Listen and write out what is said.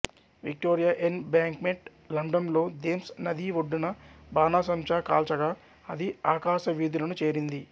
Victoria Embankment London లో Thames నది ఒడ్డున బాణాసంచా కాల్చగా అది అకాశ వీధులను చేరింది